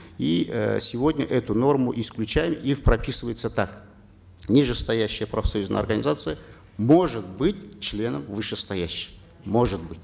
и э сегодня эту норму исключаем и прописывается так нижестоящая профсоюзная организация может быть членом вышестоящей может быть